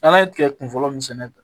An'an ye tigɛ kun fɔlɔ min sɛnɛ